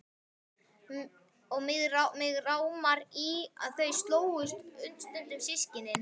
Og mig rámar í að þau slógust stundum systkinin.